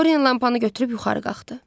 Dori lampanı götürüb yuxarı qalxdı.